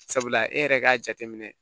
Sabula e yɛrɛ k'a jateminɛ